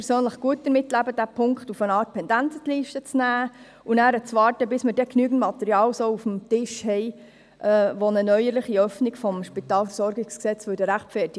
Ich persönlich könnte gut damit leben, den Punkt 4 auf eine Art Pendenzenliste zu setzen und abzuwarten, bis genügend Material auf dem Tisch liegt, das eine neuerliche Öffnung des SpVG rechtfertigt.